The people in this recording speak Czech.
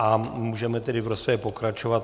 A můžeme tedy v rozpravě pokračovat.